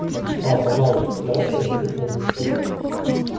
па пожалуйста постарайся раздобыть мне сапоги